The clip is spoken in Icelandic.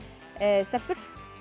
stelpur